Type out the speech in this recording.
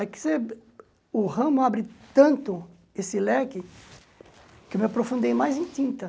É que o ramo abre tanto esse leque que eu me aprofundei mais em tinta.